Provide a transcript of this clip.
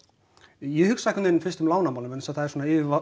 ég hugsa fyrst um lánamálin því það er svona